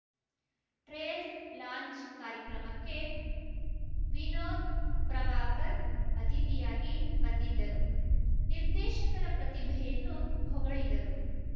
trailer launch ಕಾರ್ಯಕ್ರಮಕ್ಕೆ ವಿನೋದ್‌ ಪ್ರಭಾಕರ್‌ ಅತಿಥಿಯಾಗಿ ಬಂದಿದ್ದರು ನಿರ್ದೇಶಕರ ಪ್ರತಿಭೆಯನ್ನು ಹೊಗಳಿದರು